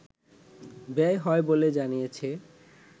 ব্যয় হয় বলে জানিয়েছে